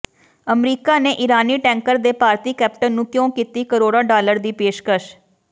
America ਨੇ ਇਰਾਨੀ tanker ਦੇ ਭਾਰਤੀ ਕੈਪਟਨ ਨੂੰ ਕਿਉਂ ਕੀਤੀ ਕਰੋੜਾਂ ਡਾਲਰ ਦੀ ਪੇਸ਼ਕਸ਼